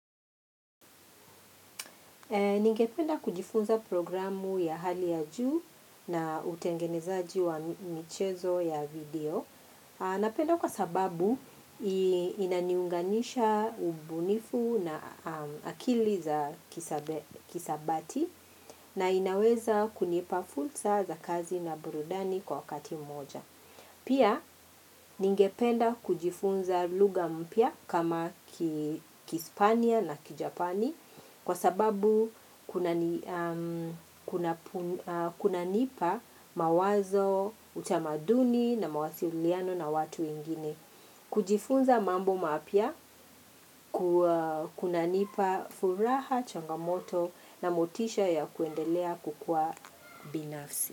Ningependa kujifunza programu ya hali ya juu na utengenezaji wa michezo ya video. Napenda kwa sababu inaniunganisha ubunifu na akili za kisabati na inaweza kunipa fursa za kazi na burudani kwa wakati mmoja. Pia ningependa kujifunza lugha mpya kama kihispania na kijapani kwa sababu kuna nipa mawazo, utamaduni na mawasiliano na watu wengine. Kujifunza mambo mapya kunanipa furaha, changamoto na motisha ya kuendelea kukua binafsi.